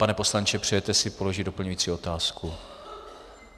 Pane poslanče, přejete si položit doplňující otázku?